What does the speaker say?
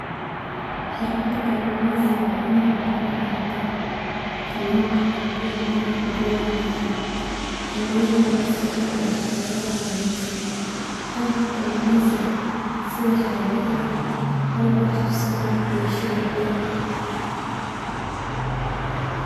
Xeerfada kalumeeysika wa Ina aqoon laahdah, kaluunga iyo meelaha koobaha laga heloh, xeeleyatha ugu fican ee xeelatha la athegsadoh qaabka kalumeeysika setha xeerikya atheg qaalb wax qaabsatha iyo shawag weeyn .